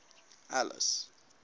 alice